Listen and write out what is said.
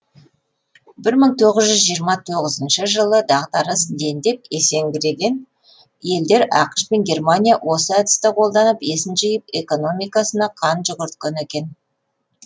бір мың тоғыз жүз жиырма тоғызыншы жылы дағдарыс дендеп есеңгіреген елдер ақш пен германия осы әдісті қолданып есін жиып экономикасына қан жүгірткен екен